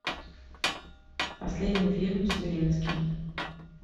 последний фильм с зеленским